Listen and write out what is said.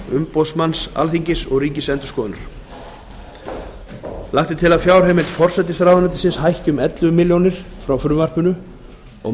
umboðsmanns alþingis og ríkisendurskoðunar lagt er til að fjárheimild forsætisráðuneytis hækki um ellefu milljónir króna frá frumvarpinu og